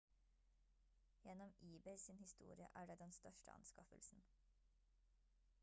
gjennom ebay sin historie er det den største anskaffelsen